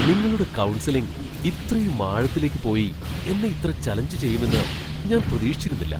നിങ്ങളുടെ കൗൺസിലിംഗ് ഇത്രയും ആഴത്തിലേക്ക് പോയി എന്നെ ഇത്ര ചലഞ്ചു ചെയ്യുമെന്ന് ഞാൻ പ്രതീക്ഷിച്ചിരുന്നില്ല!